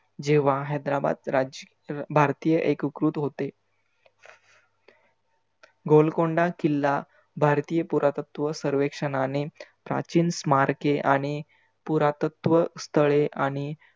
जेव्हा हैद्राबाद राज्य भारतीय एककृत होते. गोलकोंडा किल्ला भारतीय पुरातत्व सर्वेक्षनाने प्राचीन स्मारके आणि पुरातत्व तळे आणि